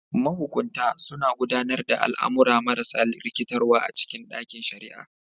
Mahukunta suna gudanar da al'amura marasa rikitarwa a cikin ɗakin shari'a.